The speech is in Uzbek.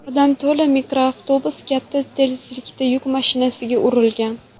Odam to‘la mikroavtobus katta tezlikda yuk mashinasiga urilgan.